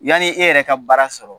Yani e yɛrɛ ka baara sɔrɔ